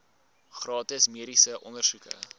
gratis mediese ondersoeke